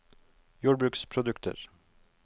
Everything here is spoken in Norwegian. jordbruksprodukter